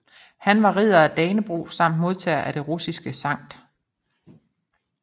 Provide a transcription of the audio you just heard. Han var Ridder af Dannebrog samt modtager af den russiske Skt